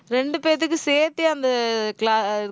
ரெண்டு பேத்துக்கும் சேர்த்தே அந்த